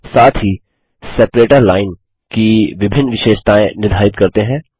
साथ ही separator line विभाजक रेखा की विभिन्न विशेषतायें निर्धारित करते हैं